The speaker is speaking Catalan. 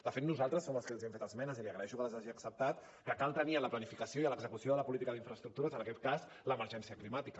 de fet nosaltres som els que els hem fet esmenes i li agraeixo que les hagi acceptat que cal tenir en la planificació i a l’execució de la política d’infraestructures en aquest cas l’emergència climàtica